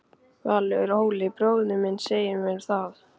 Valur: Óli bróðir minn segir mér það.